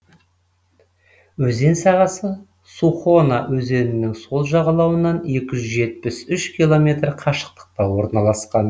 өзен сағасы сухона өзенінің сол жағалауынан екі жүз жетпіс үш километр қашықтықта орналасқан